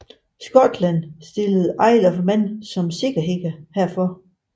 Skotland stillede Isle of Man som sikkerhed herfor